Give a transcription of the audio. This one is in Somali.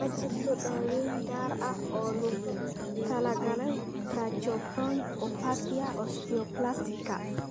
Ma jirto daaweyn gaar ah oo loogu talagalay tracheobronchopathia osteoplastica (TO).